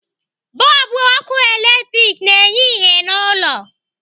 Bọlbụ ọkụ latrik na-enye ìhè n'ụlọ.